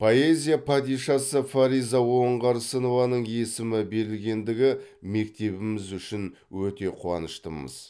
поэзия падишасы фариза оңғарсынованың есімі берілгендігі мектебіміз үшін өте қуаныштымыз